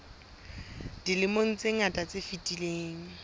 dilemong tse ngata tse fetileng